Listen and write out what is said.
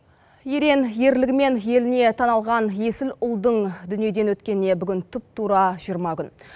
ерең ерлігімен еліне танылған есіл ұлдың дүниеден өткеніне бүгін тұп тура жиырма күн